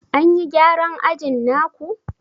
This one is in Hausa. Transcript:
An yi gyaran ajin na ku?